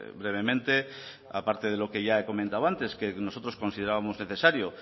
brevemente aparte de lo que ya he comentado antes que nosotros considerábamos necesario